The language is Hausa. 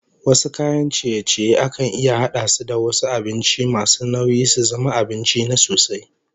Wasu kayan ciye-ciyen akan iya hada su da wasu abincin masu nauyi su zama abinci na sosai